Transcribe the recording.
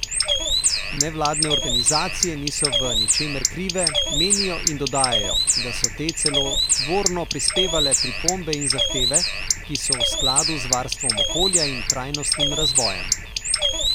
Nevladne organizacije niso v ničemer krive, menijo in dodajajo, da so te celo tvorno prispevale pripombe in zahteve, ki so v skladu z varstvom okolja in trajnostnim razvojem.